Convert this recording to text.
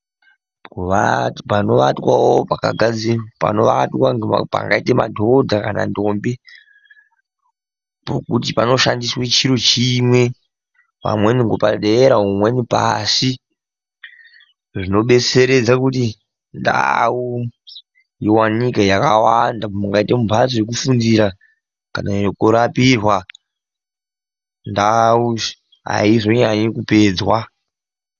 Panovatwawo pakagadzirwa. Panovatwa, pangaita madhodha kana ndombi, pokuti panoshandiswe chiro chimwe. pamweni mumweni padera mumweni pashi. Zvinodetseredza kuti ndau iwanikwe yakawanda. Mungaite mumbatso yekufundira kana yekurapihwa. Ndau haizonyanyi kupedzwa.